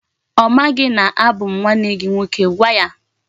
O maghi na abu m nwanne gi nwoke. Gwa ya!